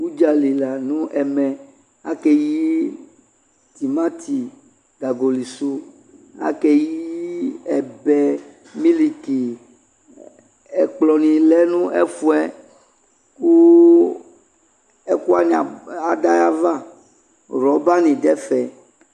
Udzali la no ɛmɛ ake yi tomate gagoli so Ake yi ɛbɛ, miliki, ɛlplɔ ne lɛ no ɛfuɛ koo ɛkua ne ab, ada yava Rɔba ne dɛfɛ